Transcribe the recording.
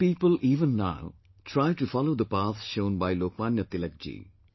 Some people even now try to follow the path shown by Lokmanya Tilak ji